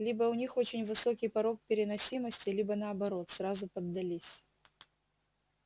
либо у них очень высокий порог переносимости либо наоборот сразу поддались